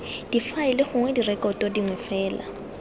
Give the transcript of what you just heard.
difaele gongwe direkoto dingwe fela